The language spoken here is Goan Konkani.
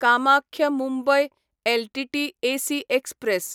Kamakhya Mumbai LTT AC express